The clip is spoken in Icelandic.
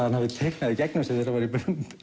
hann hefði teiknað í gegnum sig þegar hann var í